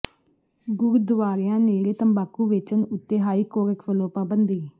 ਗੁਰਦੁਆਰਿਆਂ ਨੇੜੇ ਤੰਬਾਕੂ ਵੇਚਣ ਉੱਤੇ ਹਾਈ ਕੋਰਟ ਵੱਲੋਂ ਪਾਬੰਦੀ